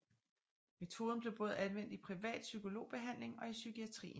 Metoden blev både anvendt i privat psykologbehandling og i psykiatrien